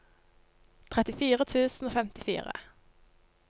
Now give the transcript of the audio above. trettifire tusen og femtifire